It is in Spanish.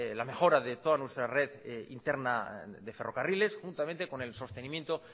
la mejora de toda nuestra red interna de ferrocarriles juntamente con el sostenimiento